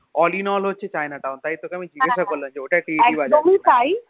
All in all হচ্ছে China town তাই তোকে আমি জিজ্ঞাসা করলাম ওটা টিরিটি বাজার কিনা